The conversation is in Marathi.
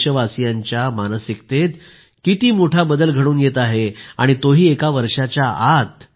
देशवासीयांच्या मानसिकतेत किती मोठा बदल घडून येत आहे आणि तोही एका वर्षाच्या आत